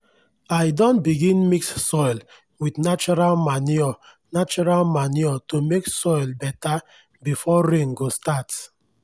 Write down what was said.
i don begin mix soil with natural manure natural manure to make soil better before rain go start.